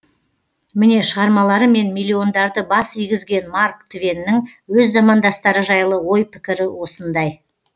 міне шығармаларымен миллиондарды бас игізген марк твеннің өз замандастары жайлы ой пікірі осындай